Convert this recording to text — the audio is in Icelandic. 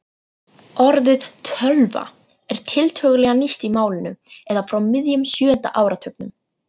Orðið tölva er tiltölulega nýtt í málinu eða frá miðjum sjöunda áratugnum.